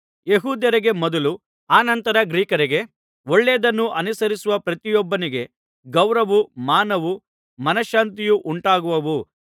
ಯೆಹೂದ್ಯರಿಗೆ ಮೊದಲು ಅನಂತರ ಗ್ರೀಕರಿಗೆ ಒಳ್ಳೆಯದನ್ನು ಅನುಸರಿಸುವ ಪ್ರತಿಯೊಬ್ಬನಿಗೆ ಗೌರವವೂ ಮಾನವೂ ಮನಶಾಂತಿಯೂ ಉಂಟಾಗುವವು